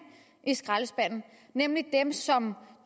i skraldespanden nemlig dem som